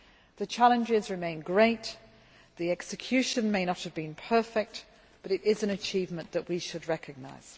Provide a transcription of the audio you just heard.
The challenges remained great, the execution may not have been perfect, but this is an achievement that we should recognise.